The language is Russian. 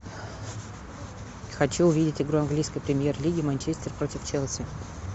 хочу увидеть игру английской премьер лиги манчестер против челси